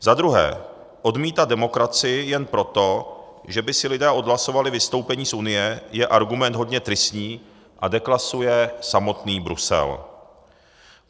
Za druhé, odmítat demokracii jen proto, že by si lidé odhlasovali vystoupení z Unie, je argument hodně tristní a deklasuje samotný Brusel.